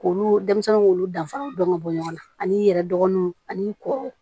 K'olu denmisɛnninw k'olu danfara dɔn ka bɔ ɲɔgɔn na ani i yɛrɛ dɔgɔninw ani kɔ